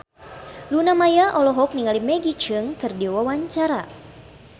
Luna Maya olohok ningali Maggie Cheung keur diwawancara